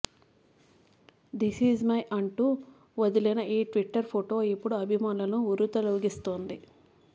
disease my అంటూ వదిలిన ఈ ట్విట్టర్ ఫొటో ఇప్పుడు అభిమానులను ఉర్రూతలూగిస్తోంది